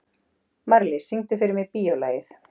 Marlís, syngdu fyrir mig „Bíólagið“.